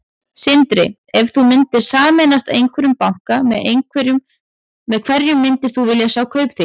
Sindri: Ef þú myndir sameinast einhverjum banka, með hverjum myndir þú vilja sjá Kaupþing?